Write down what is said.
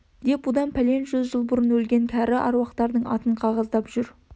деп бұдан пәлен жүз жыл бұрын өлген кәрі әруақтардың атын қағаздап жүр